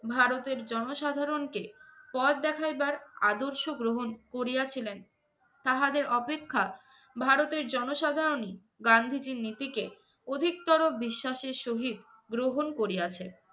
ভারতের জনসাধারণকে পথ দেখাইবার আদর্শ গ্রহণ করিয়াছিলেন, তাহাদের অপেক্ষা ভারতের জনসাধারণই গান্ধীজীর নীতিকে অধিকতর বিশ্বাসের সহিত গ্রহণ করিয়াছে।